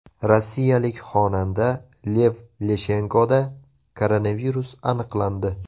Rossiyalik xonanda Lev Leshenkoda koronavirus aniqlandi.